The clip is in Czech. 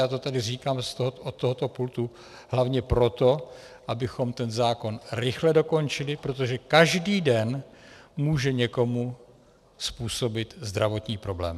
Já to tady říkám od tohoto pultu hlavně proto, abychom ten zákon rychle dokončili, protože každý den může někomu způsobit zdravotní problém.